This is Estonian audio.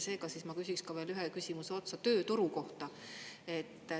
Seega siis ma küsiks ka veel ühe küsimuse otsa tööturu kohta.